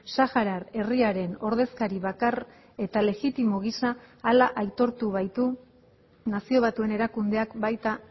saharar herriaren ordezkari bakar eta legitimo gisa hala aitortu baitu nazio batuen erakundeak baita